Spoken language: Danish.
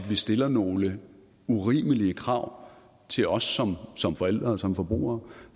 vi stiller nogle urimelige krav til os som som forældre og som forbrugere